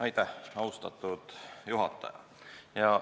Aitäh, austatud juhataja!